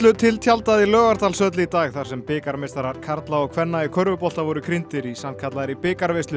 til tjaldað í Laugardalshöll í dag þar sem bikarmeistarar karla og kvenna í körfubolta voru í sannkallaðri